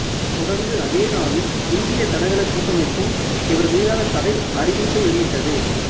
தொடர்ந்து அதே நாளில் இந்திய தடகள கூட்டமைப்பும் இவர் மீதான தடை அறிவிப்பை வெளியிட்டது